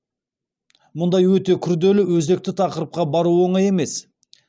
мұндай өте күрделі өзекті тақырыпқа бару оңай емес